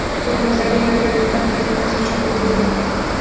Termizdagi yodgorliklar xaritasi chop etildi.